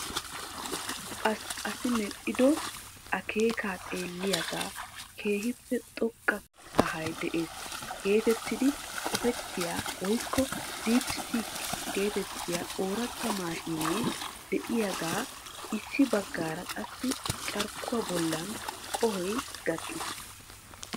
Asi medhdhido akkeeka xeelliyaaga keehippe xoqqa kahay de'ees getettidi qopittiyaa woykko "deepseek" getettiyaa oorata maashine de'iyaaga issi baggaara qassi carkkuwa bollan qohoy gakkiis.